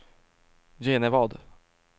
Genevad